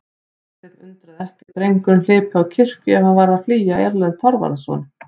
Martein undraði ekki að drengurinn hlypi á kirkju ef hann var að flýja Erlend Þorvarðarson.